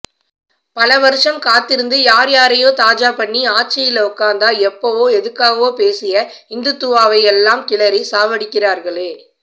பல வருஷம் காத்திருந்து யார் யாரையோ தாஜா பண்ணி ஆட்சில உட்காந்தா எப்பவோ எதுக்காகவோ பேசிய இந்துத்வாவையெல்லாம் கிளறி சாவடிக்கிறாங்களே